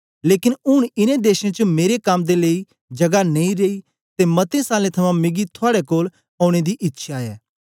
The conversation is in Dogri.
लेकन ऊन इनें देशें च मेरे कम दे लेई जगा नेई रेई ते मते सालें थमां मिगी थुआड़े कोल औने दी इच्छया ऐ